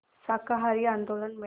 शाकाहारी आंदोलन में